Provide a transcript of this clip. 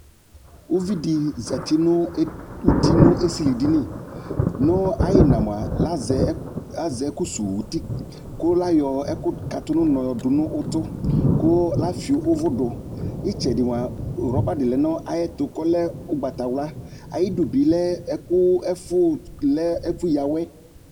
Uvi dɩ zati nʋ ed uti nʋ esilidini Nʋ ayʋ ɩɣɩna mʋa, azɛ azɛ ɛkʋsuwu uti kʋ ayɔ ɛkʋkatʋ nʋ ʋnɔ dʋ nʋ ʋtʋ kʋ efio ʋvʋ dʋ Ɩtsɛdɩ mʋa, rɔba dɩ lɛ nʋ ayɛtʋ kʋ ɔlɛ ʋgbatawla Ayidu bɩ lɛ ɛkʋ ɛfʋ lɛ ɛfʋyǝ awɛ